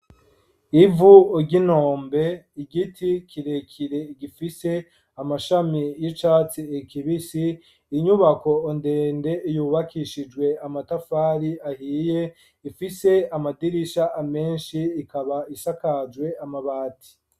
Ivu ry'inombe ,igiti kirekire gifise amashami y'icatsi kibisi, inyubako ndende yubakishijwe amatafari ahiye, ifise amadirisha amenshi ikaba isakajwe amabati.